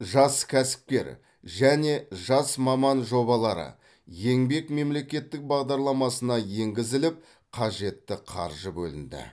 жас кәсіпкер және жас маман жобалары еңбек мемлекеттік бағдарламасына енгізіліп қажетті қаржы бөлінді